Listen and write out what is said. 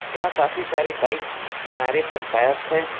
यहां काफी सारी बाइक किनारे पर पार्क है।